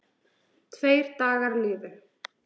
Tveir dagar liðu.